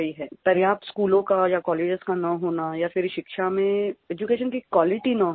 पर्याप्त स्कूलों का या कॉलेजेस का न होना या फिर शिक्षा में एड्यूकेशन की क्वालिटी न होना